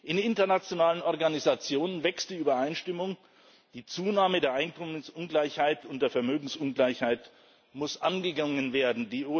In internationalen Organisationen wächst die Übereinstimmung Die Zunahme der Einkommensungleichheit und der Vermögensungleichheit muss angegangen werden.